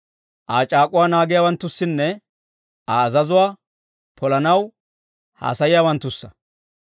Aa c'aak'uwaa naagiyaawanttussanne Aa azazuwaa polanaw hassayiyaawanttussa.